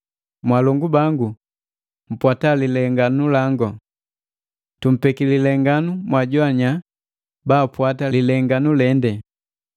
Mwaalongu bangu, mpwata lilenganu langu. Tumpeki lilenganu mwaajoannya baapwata lilenganu lende.